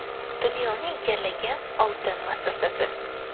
Dunyoni egallagan oltin vasvasasi.